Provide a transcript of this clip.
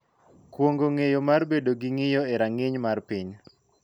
Kuong�o ng�eyo mar bedo gi ng�iyo e rang�iny mar piny.